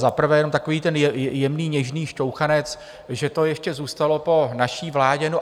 Za prvé jenom takový ten jemný, něžný šťouchanec, že to ještě zůstalo po naší vládě.